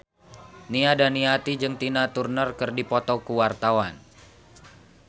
Nia Daniati jeung Tina Turner keur dipoto ku wartawan